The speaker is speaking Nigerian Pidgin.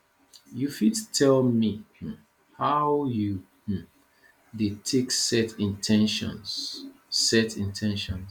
you fit tell me um how you um dey take set in ten tions set in ten tions